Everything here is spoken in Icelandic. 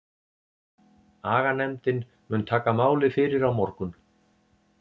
Aganefndin mun taka málið fyrir á morgun.